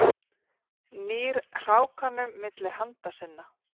Nýr hrákanum milli handa sinna.